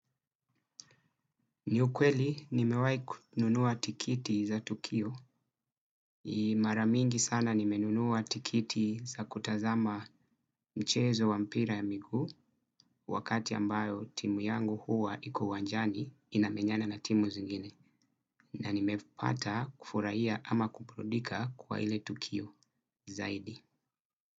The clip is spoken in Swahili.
Ni ukweli, ni mewai kununua tikiti za tukio. Ni mara mingi sana nimenunua tikiti za kutazama mchezo wa mpira ya miguu wakati ambayo timu yangu huwa iko uwanjani inamenyana na timu zingine na ni mepata kufurahia ama kuburudika kwa ile tukio zaidi.